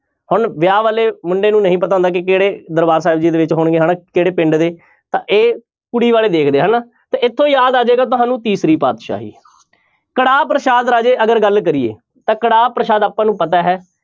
ਹੁਣ ਵਿਆਹ ਵਾਲੇ ਮੁੰਡੇ ਨੂੰ ਨਹੀਂ ਪਤਾ ਹੁੰਦਾ ਕਿ ਕਿਹੜੇ ਦਰਬਾਰ ਸਾਹਿਬ ਜੀ ਦੇ ਵਿੱਚ ਹੋਣਗੇ ਹਨਾ, ਕਿਹੜੇ ਪਿੰਡ ਦੇ ਤਾਂ ਇਹ ਕੁੜੀ ਵਾਲੇ ਦੇਖਦੇ ਆ ਹਨਾ, ਤਾਂ ਇੱਥੋਂ ਯਾਦ ਆ ਜਾਏਗਾ ਤੁਹਾਨੂੰ ਤੀਸਰੀ ਪਾਤਿਸ਼ਾਹੀ ਕੜਾਹ ਪ੍ਰਸ਼ਾਦ ਰਾਜੇ ਅਗਰ ਗੱਲ ਕਰੀਏ ਤਾਂ ਕੜਾਹ ਪ੍ਰਸ਼ਾਦ ਆਪਾਂ ਨੂੰ ਪਤਾ ਹੈ,